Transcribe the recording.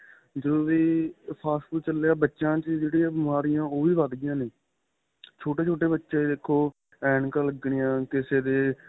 ਜਦੋਂ ਦੇ fast food ਚੱਲੇ ਏ ਬੱਚਿਆ ਚ ਜਿਹੜੀਆਂ ਬਿਮਾਰੀਆਂ ਨੇ ਉਹ ਵੀ ਵੱਧ ਗਈਆਂ ਨੇ ਛੋਟੇ ਛੋਟੇ ਬੱਚੇ ਦੇਖੋ ਐੱਨਕਾ ਲੱਗਣੀਆਂ ਕਿਸੇ ਦੇ